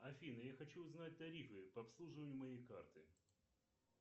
афина я хочу узнать тарифы по обслуживанию моей карты